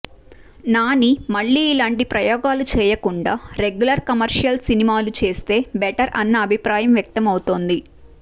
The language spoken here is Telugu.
నాని మళ్లీ ఇలాంటి ప్రయోగాలు చేయకుండా రెగ్యులర్ కమర్షియల్ సినిమాలు చేస్తే బెటర్ అన్న అభిప్రాయం వ్యక్తం అవుతోంది